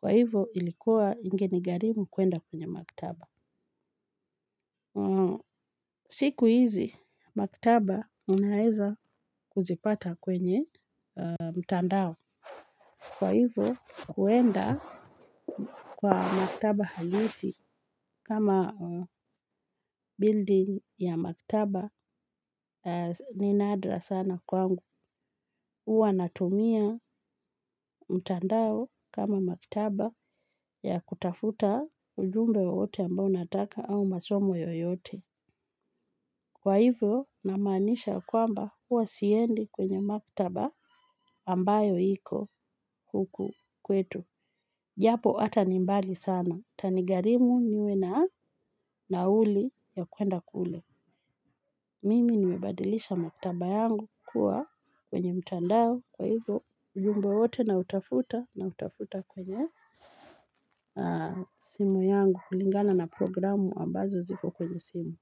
Kwa hivo ilikuwa ingeni gharimu kuenda kwenye maktaba. Siku hizi, maktaba unaeza kuzipata kwenye mtandao. Kwa hivyo kuenda kwenye maktaba haiwezi kama building ya maktaba ni nadra sana kwangu huwa natumia mtandao kama maktaba ya kutafuta ujumbe wowote ambao unataka au masomo yoyote. Kwa hivyo, namaanisha kwamba huwa siendi kwenye maktaba ambayo iko huku kwetu. Japo hata ni mbali sana. Itanigharimu niwe na nauli ya kuenda kule. Mimi nimebadilisha maktaba yangu kukua kwenye mtandao. Kwa hivyo ujumbe wowote na lutafuta nautafuta kwenye simu yangu kulingana na programu ambazo zipo kwenye simu.